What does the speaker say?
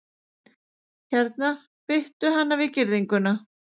Hérna, bittu hana við girðinguna